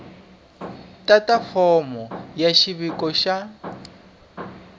tata fomo ya xiviko xa